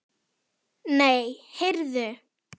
Nei, heyrðu.